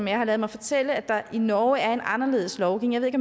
jeg har ladet mig fortælle at der i norge er en anderledes lovgivning